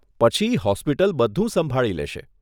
પછી હોસ્પિટલ બધુ સંભાળી લેશે.